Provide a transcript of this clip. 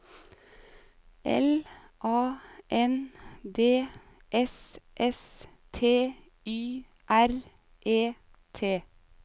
L A N D S S T Y R E T